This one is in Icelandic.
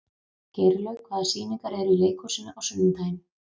Geirlaug, hvaða sýningar eru í leikhúsinu á sunnudaginn?